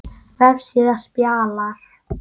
Vefsíða Spalar